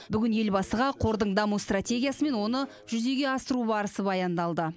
бүгін елбасыға қордың даму стратегиясы мен оны жүзеге асыру барысы баяндалды